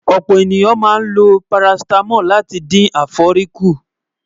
ọ̀pọ̀ ènìyàn máa ń ló paracetamol láti dín éfòrí kù